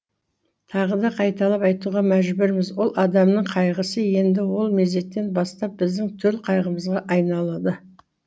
тағы да қайталап айтуға мәжбүрміз ол адамның қайғысы енді сол мезеттен бастап біздің төл қайғымызға айналады